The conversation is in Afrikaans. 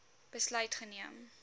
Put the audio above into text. besluit geneem